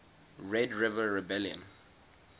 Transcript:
red river rebellion